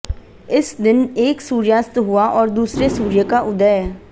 इस दिन एक सूर्यास्त हुआ और दूसरे सूर्य का उदय